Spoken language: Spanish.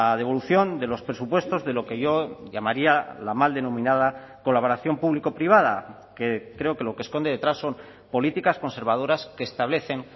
devolución de los presupuestos de lo que yo llamaría la mal denominada colaboración público privada que creo que lo que esconde detrás son políticas conservadoras que establecen